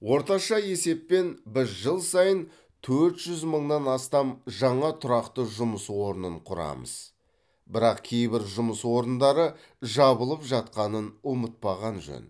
орташа есеппен біз жыл сайын төрт жүз мыңнан астам жаңа тұрақты жұмыс орнын құрамыз бірақ кейбір жұмыс орындары жабылып жатқанын ұмытпаған жөн